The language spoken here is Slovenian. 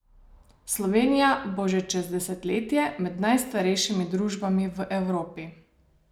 Slovenija bo že čez desetletje med najstarejšimi družbami v Evropi.